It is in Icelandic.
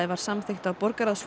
var samþykkt á